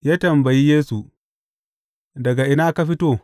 Ya tambayi Yesu, Daga ina ka fito?